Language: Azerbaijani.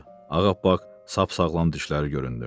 Ağappaq sap-sağlam dişləri göründü.